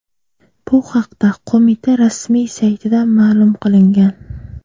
Bu haqda qo‘mita rasmiy saytida ma’lum qilingan .